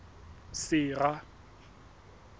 sera